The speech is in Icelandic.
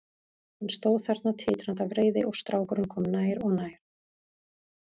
Hann stóð þarna titrandi af reiði og strákurinn kom nær og nær.